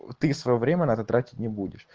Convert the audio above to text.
ты своё время на это тратить не будешь